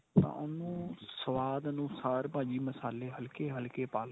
ਤਾਂ ਉਹਨੂੰ ਸਵਾਦ ਅਨੁਸਾਰ ਭਾਜੀ ਮਸਾਲੇ ਹਲਕੇ ਹਲਕੇ ਪਾ ਲਓ